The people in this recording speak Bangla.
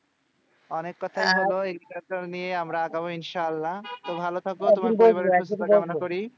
অনেক কোথায় একটা মেয়ে আমরা ইনশাআল্লাহ তো